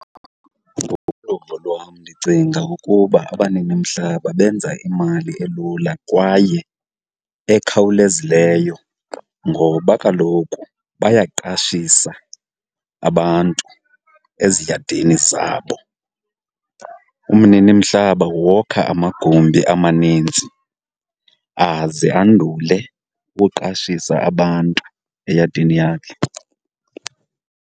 Ngokoluvo lwam ndicinga ukuba abaninimhlaba benza imali elula kwaye ekhawulezileyo ngoba kaloku bayaqashisa abantu eziyadini zabo. Umninimhlaba wokha amagumbi amaninzi aze andule ukuqashisa abantu eyadini yakhe.